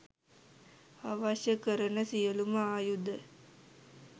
අවශ්‍ය කරන සියලුම ආයුධ